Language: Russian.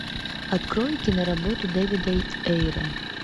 открой киноработу дэвида эйра